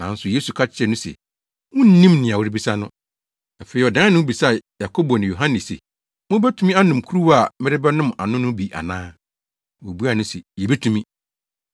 Nanso Yesu ka kyerɛɛ no se, “Wunnim nea worebisa no.” Afei ɔdan ne ho bisaa Yakobo ne Yohane se, “Mubetumi anom kuruwa a merebɛnom ano no bi ana?” Wobuaa no se, “Yebetumi!”